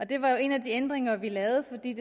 det var jo en af de ændringer vi lavede for det